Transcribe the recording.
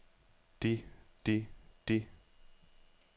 de de de